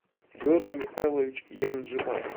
георгий михайлович янжимаев